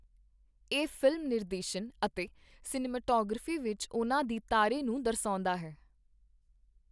ਇਹ ਫ਼ਿਲਮ ਨਿਰਦੇ ਸ਼ਨ ਅਤੇ ਸਿਨੇਮੈਟੋਗ੍ਰਾਫੀ ਵਿੱਚ ਉਹਨਾਂ ਦੀ ਤਾਰੇ ਨੂੰ ਦਰਸਾਉਂਦਾ ਹੈ।